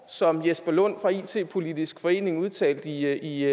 som jesper lund fra it politisk forening udtalte i